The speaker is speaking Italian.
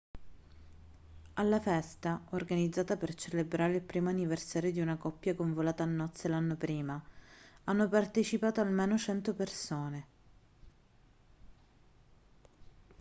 alla festa organizzata per celebrare il primo anniversario di una coppia convolata a nozze l'anno prima hanno partecipato almeno 100 persone